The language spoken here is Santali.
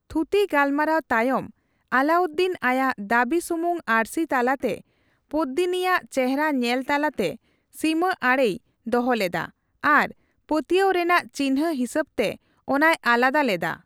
ᱛᱷᱩᱛᱤᱼᱜᱟᱞᱢᱟᱨᱟᱣ ᱛᱟᱭᱚᱢ ᱟᱞᱟᱭᱩᱫᱫᱤᱱ ᱟᱭᱟᱜ ᱫᱟᱹᱵᱤ ᱥᱩᱢᱩᱝ ᱟᱹᱨᱥᱤ ᱛᱟᱞᱟᱛᱮ ᱯᱚᱫᱽᱫᱤᱱᱤᱭᱟᱜ ᱪᱮᱨᱦᱟ ᱧᱮᱞ ᱛᱟᱞᱟᱛᱮ ᱥᱤᱢᱟᱹᱟᱲᱮᱭ ᱫᱚᱦᱚᱞᱮᱫᱟ ᱟᱨ ᱯᱟᱹᱛᱤᱭᱟᱹᱣ ᱨᱮᱱᱟᱜ ᱪᱤᱱᱦᱟᱹ ᱦᱤᱥᱟᱹᱵᱽᱛᱮ ᱚᱱᱟᱭ ᱟᱞᱟᱫᱟ ᱞᱮᱫᱟ ᱾